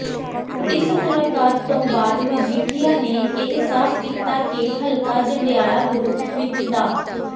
ਇਸ ਮੁਲਾਕਾਤ ਤੋਂ ਬਾਅਦ ਮਜੀਠੀਆ ਨੇ ਇਹ ਸਾਫ਼ ਕੀਤਾ ਕੇ ਹਲਕਾ ਜੰਡਿਆਲਾ ਗੁਰੂ ਵਿੱਚ ਡਾ